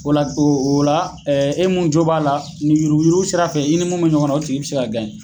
O la o la e mun jo b'a la ni yururku yururku sira fɛ i ni mun be ɲɔgɔn na o tigi be se ka gaɲɛ